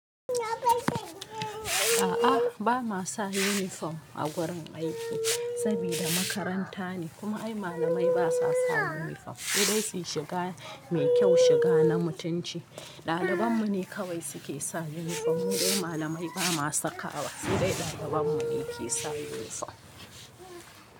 A'a, ba ma sa uniform a wurin aiki saboda makaranta ne kuma ai malamai ba sa sa uniform. Sai dai suyi shiga mai ƙyau shiga na mutunci ɗaliban mu ne kawai suke sa uniform. Mu dai malamai ba ma sakawa sai dai ɗaliban mu ne ke sa uniform.